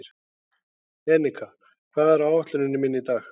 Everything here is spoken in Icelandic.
Enika, hvað er á áætluninni minni í dag?